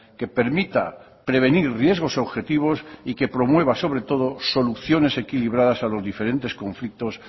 que permita prevenir riesgos objetivos y que promueva sobre todo soluciones equilibradas a los diferentes conflictos